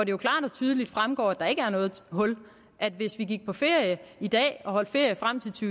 jo klart og tydeligt fremgår at der ikke er noget hul hvis vi gik på ferie i dag og holdt ferie frem til